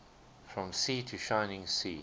from sea to shining sea